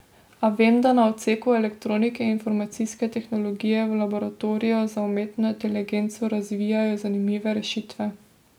A vem, da na odseku elektronike in informacijske tehnologije v laboratoriju za umetno inteligenco razvijajo zanimive rešitve.